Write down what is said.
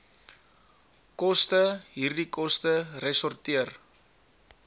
kostehierdie koste resorteer